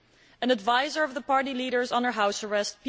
An advisor of the party leader is under house arrest